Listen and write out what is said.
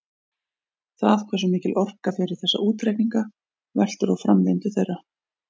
Það hversu mikil orka fer í þessa útreikninga veltur á framvindu þeirra.